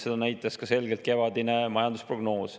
Seda näitas selgelt ka kevadine majandusprognoos.